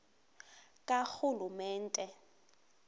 karhulumente